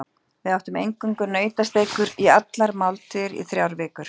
Við átum eingöngu nautasteikur í allar máltíðir í þrjár vikur.